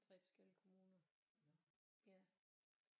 3 forskellige kommuner ja